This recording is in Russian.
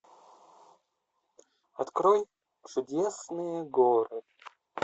открой чудесные горы